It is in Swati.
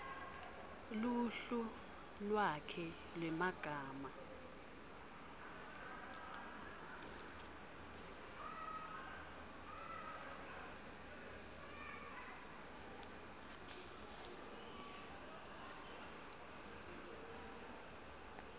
luhlu lwakhe lwemagama